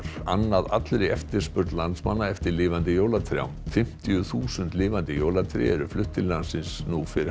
annað allri eftirspurn landsmanna eftir lifandi jólatrjám fimmtíu þúsund lifandi jólatré eru flutt til landsins fyrir